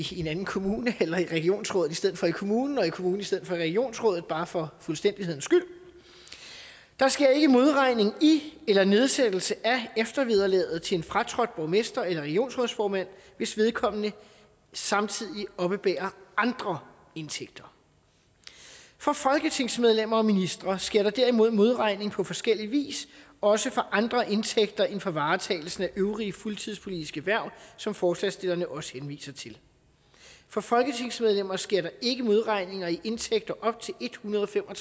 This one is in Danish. sige i en anden kommune eller i regionsrådet i stedet for i kommunen og i kommunen i stedet for regionsrådet bare for fuldstændighedens skyld der sker ikke modregning i eller nedsættelse af eftervederlaget til en fratrådt borgmester eller regionsrådsformand hvis vedkommende samtidig oppebærer andre indtægter for folketingsmedlemmer og ministre sker der derimod modregning på forskellig vis også for andre indtægter end for varetagelsen af øvrige fuldtidspolitiske hverv som forslagsstillerne også henviser til for folketingsmedlemmer sker der ikke modregning i indtægter op til ethundrede og